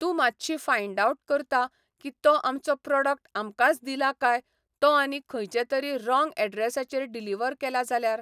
तूं मातशी find out करता की तो आमचो प्रोडक्ट आमकांच दिलां कांय तो आनी खंयचें तरी रोंग अेड्ररेसाचेर डिलिव्हर केल्या जाल्यार.